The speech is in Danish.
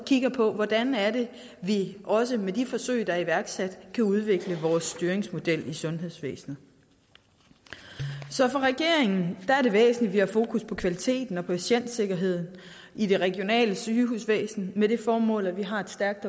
kigger på hvordan vi også med de forsøg der er iværksat kan udvikle vores styringsmodel i sundhedsvæsenet så for regeringen er det væsentligt at vi har fokus på kvaliteten og patientsikkerheden i det regionale sygehusvæsen med det formål at vi har et stærkt